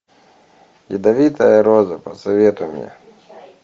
ядовитая роза посоветуй мне